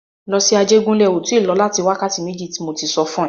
Lọ sí Ajégúnlẹ̀! O tí lọ láti wákàtí méjì tí mo tí sọ fún e.